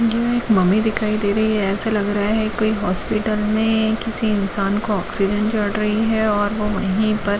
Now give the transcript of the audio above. यह एक मम्मी दिखाई दे रही है ऐसा लग रहा है कोई हॉस्पिटल में किसी इंसान को ऑक्सीजन चढ़ रही है और वह वहीं पर--